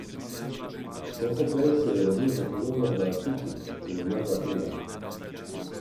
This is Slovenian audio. Sofoklej se je rodil v Kolonu v Atiki in umrl v Atenah.